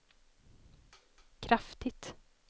kraftigt